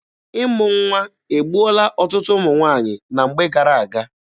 Ịmụ nwa egbuola ọtụtụ ụmụ nwaanyị na mgbe gara aga.